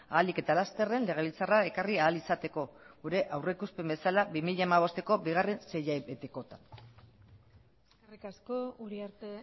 ahalik eta lasterren legebiltzarrera ekarri ahal izateko gure aurrikuspen bezala bi mila hamabostko bigarren seihilabetekorako eskerrik asko uriarte